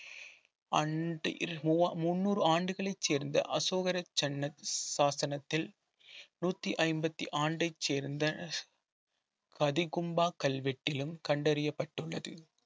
முந்நூறு ஆண்டுகளை சேர்ந்த அசோகர சன்ன சாசனத்தில் நூத்தி ஐம்பத்தி ஆண்டை சேர்ந்த பதிகொம்பா கல்வெட்டிலும் கண்டறியப்பட்டுள்ளது